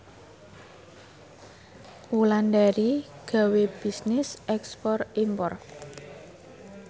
Wulandari gawe bisnis ekspor impor